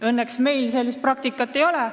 Õnneks meil sellist praktikat ei ole.